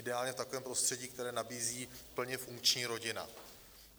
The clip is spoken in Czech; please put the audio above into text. Ideálně v takovém prostředí, které nabízí plně funkční rodina.